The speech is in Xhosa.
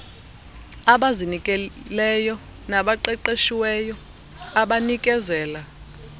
abazinikeleyo nabaqeqeshiweyo abanikezela